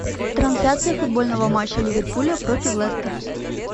трансляция футбольного матча ливерпуля против лестера